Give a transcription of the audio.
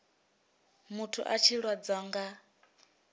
muthu a tshi lwadzwa nga